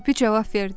Kirpi cavab verdi: